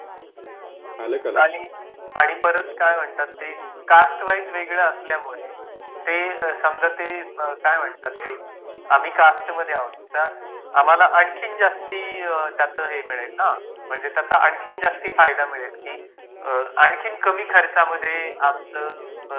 आणि परत काय म्हणतात ते कास्ट वाईज वेगळे असल्यामुळे ते समजा ते काय म्हणतात ते आम्ही कास्टमध्ये आहोत तर आम्हाला आणखीन जास्त त्याच हे मिळेल ना म्हणजे त्याचा अंखिन जास्त फायदा मिळेल ना आणखीन कमी खर्चामध्ये आमचं काय म्हणतात ती त्यांची ट्रीटमंट होउन जाईल